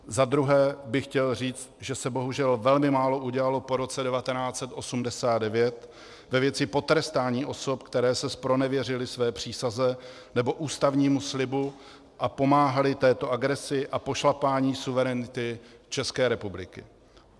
Za druhé bych chtěl říct, že se bohužel velmi málo udělalo po roce 1989 ve věci potrestání osob, které se zpronevěřily své přísaze nebo ústavnímu slibu a pomáhaly této agresi a pošlapání suverenity České republiky.